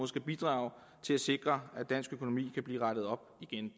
skal bidrage til at sikre at dansk økonomi kan blive rettet op igen